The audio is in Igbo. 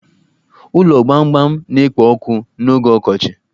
Ụlo gbamgbam na-ekpo ọkụ n'oge ọkọchi